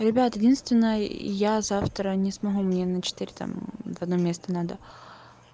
ребят единственное я завтра не смогу мне на четыре там в одно место надо